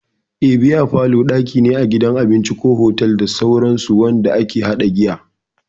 Eh, Bear parlour daki ne a gidan abinci, otal, da sauransu wanda ake hada giya.